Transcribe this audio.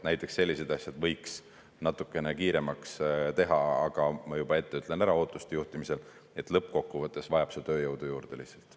Näiteks sellised asjad võiks natukene kiiremaks teha, aga ma juba ette ütlen ära ootuste juhtimisel, et lõppkokkuvõttes vajab see lihtsalt tööjõudu juurde.